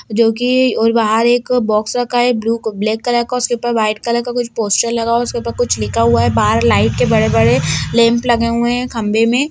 जो की और बाहर एक बॉक्स रखा है ब्लू ब्लैक कलर का उसके ऊपर वाइट कलर का कुछ पोस्टर लगा हुआ है उसके ऊपर कुछ लिखा हुआ है बाहर लाइट के बड़े-बड़े लैम्प लगे हुए है खंभे में।